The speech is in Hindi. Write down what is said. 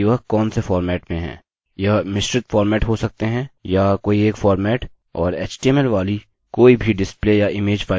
यह मिश्रित फॉर्मेट हो सकते हैं या कोई एक फॉर्मेट और html वाली कोई भी डिस्प्ले या इमेज फाइल चलेगी